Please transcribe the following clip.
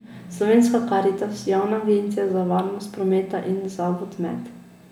Slovenska Karitas, javna agencija za varnost prometa in Zavod Med.